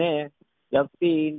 ને લગતી